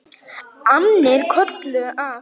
Annir kölluðu að.